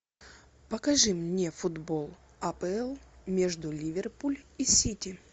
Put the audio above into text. покажи мне футбол апл между ливерпуль и сити